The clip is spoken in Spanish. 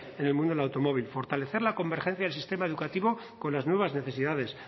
en el mundo del automóvil fortalecer la convergencia del sistema educativo con las nuevas necesidades